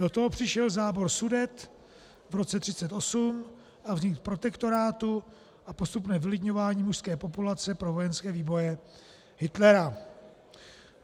Do toho přišel zábor Sudet v roce 1938 a vznik protektorátu a postupné vylidňování mužské populace pro vojenské výboje Hitlera.